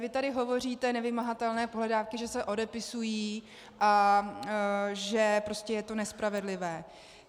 Vy tady hovoříte, nevymahatelné pohledávky že se odepisují a že prostě je to nespravedlivé.